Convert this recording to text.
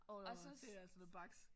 Åh det er altså noget baks